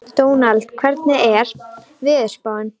Dónald, hvernig er veðurspáin?